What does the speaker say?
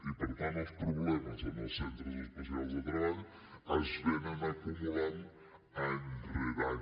i per tant els problemes en els centres especials de treball s’acumulen any rere any